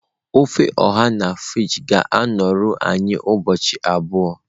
ofe oha na fridge ga-anọru anyị ụbọchị abụọ.